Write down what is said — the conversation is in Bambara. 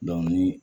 ni